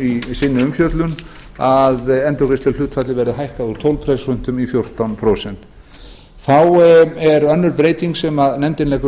í sinni umfjöllun að endurgreiðsluhlutfallið verði hækkað úr tólf prósent í fjórtán prósent þá er önnur breyting sem nefndin leggur